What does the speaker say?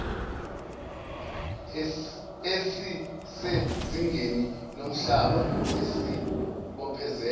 esisezingeni lomhlaba esibophezela